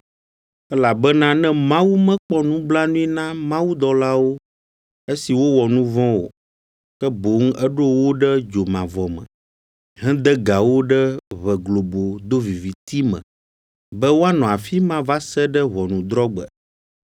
Elabena ne Mawu mekpɔ nublanui na mawudɔlawo esi wowɔ nu vɔ̃ o, ke boŋ eɖo wo ɖe dzomavɔ me, hede ga wo ɖe ʋe globo doviviti me, be woanɔ afi ma va se ɖe ʋɔnudrɔ̃gbe;